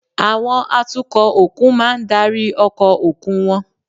Àwọn atukọ̀ òkun máa ń darí ọkọ̀ òkun wọn